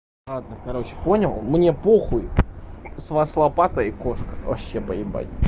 ладно короче понял мне по хуй с вас лопата и кошка вообще по ебать